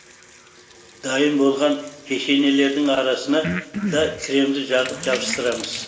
дайын болған печеньелердің арасына да кремді жағып жабыстырамыз